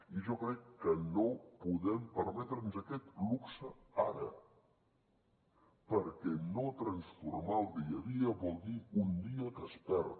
i jo crec que no podem permetre’ns aquest luxe ara perquè no transformar el dia a dia vol dir un dia que es perd